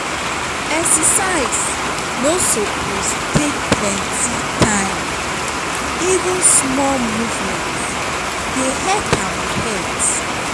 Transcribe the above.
exercise no suppose take plenty time; even small movement dey help our health.